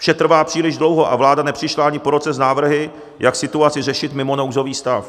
Vše trvá příliš dlouho a vláda nepřišla ani po roce s návrhy, jak situaci řešit mimo nouzový stav.